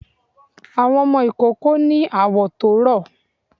Àwọn ọmọ ìkoko ni awọ̀ tó rọ